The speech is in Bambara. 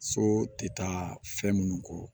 So tɛ taa fɛn minnu kɔ